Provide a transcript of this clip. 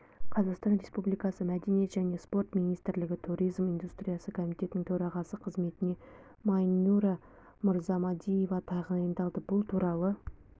қазақстан республикасы мәдениет және спорт министрлігі туризм индустриясы комитетінің төрағасы қызметіне майнюра мырзамадиева тағайындалды бұл туралы